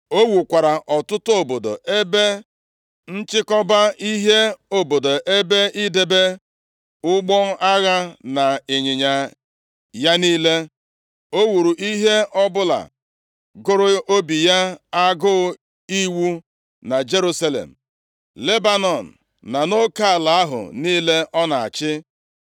O wukwara ọtụtụ obodo ebe nchịkọba ihe, obodo ebe idebe ụgbọ agha na ịnyịnya ya niile. O wuru ihe ọbụla gụrụ obi ya agụụ iwu na Jerusalem, Lebanọn na nʼoke ala ahụ niile ọ na-achị.